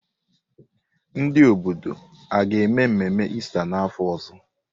Ndị obodo a ga-eme mmemme Ista n'afọ ọzọ?